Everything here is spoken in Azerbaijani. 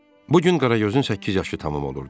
Bu gün Qaragözün səkkiz yaşı tamam olurdu.